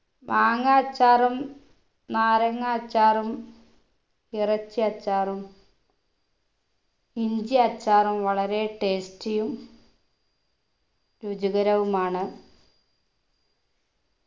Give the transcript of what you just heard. മാങ്ങ അച്ചാറും നാരങ്ങ അച്ചാറും ഇറച്ചി അച്ചാറും ഇഞ്ചി അച്ചാറും വളരെ tasty യും രുചികരവുമാണ്